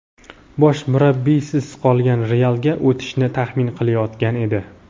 bosh murabbiysiz qolgan "Real"ga o‘tishini taxmin qilayotgan edi.